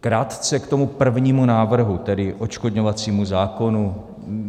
Krátce k tomu prvnímu návrhu, tedy odškodňovacímu zákonu.